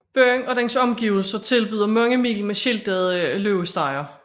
Byen og dens omgivelser tilbyder mange mil med skiltede løbestier